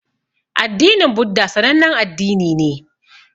Addinin buddha sanannen addini ne